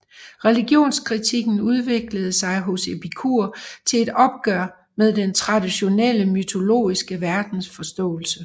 Religionskritikken udviklede sig hos Epikur til et opgør med den traditionelle mytologiske verdensforståelse